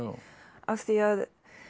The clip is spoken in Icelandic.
af því að